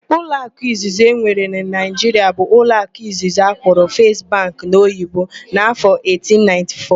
Ụlọakụ izizi enwere na Naịjiria bụ ụlọakụ Izizi akpọrọ 'First Bank' n'Oyibo n'afọ 1894.